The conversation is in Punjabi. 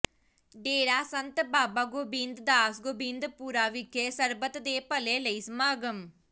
ਡੇਰਾ ਸੰਤ ਬਾਬਾ ਗੋਬਿੰਦ ਦਾਸ ਗੋਬਿੰਦਪੁਰਾ ਵਿਖੇ ਸਰਬੱਤ ਦੇ ਭਲੇ ਲਈ ਸਮਾਗਮ